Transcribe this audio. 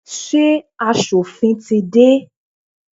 Ṣé asòfin tí dé?